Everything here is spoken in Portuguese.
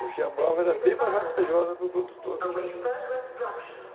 Porque a malva era bem mais vantajosa para o produtor do que a juta.